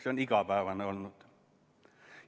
See on igapäevane olnud.